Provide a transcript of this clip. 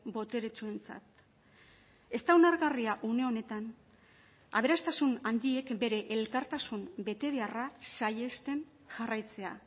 boteretsuentzat ez da onargarria une honetan aberastasun handiek bere elkartasun betebeharra saihesten jarraitzea